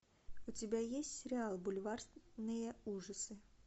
у тебя есть сериал бульварные ужасы